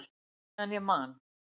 Meðan ég man!